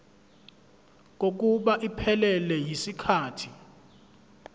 kokuba iphelele yisikhathi